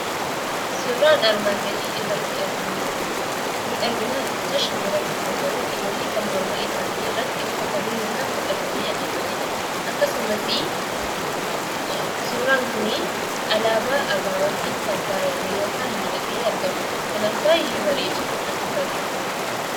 Suuraan armaan gadii irratti arginu kuni miidhaginaa jecha shamarranis haa ta'u dhiironni kan morma isaanii irratti uffatanii yookaan godhatanii adeemanii dha. Akkasumasii suuraan kunii alaabaa ABO'tiin kan faayamee yookaan miidhagee argamuudha. Kanaaf baay'ee bareeda; natti toleera.